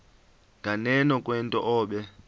nganeno kwento obe